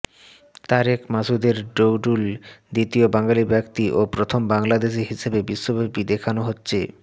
তারেক মাসুদের ডুডল দ্বিতীয় বাঙালি ব্যক্তি ও প্রথম বাংলাদেশি হিসেবে বিশ্বব্যাপী দেখানো হচ্ছে